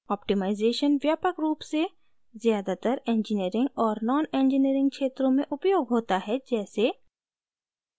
optimization व्यापक रूप से ज़्यादातर एन्जनीरिंग और नॉनएन्जनीरिंग क्षेत्रों में उपयोग होता है जैसे: